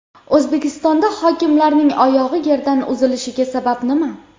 O‘zbekistonda hokimlarning oyog‘i yerdan uzilishiga sabab nima?.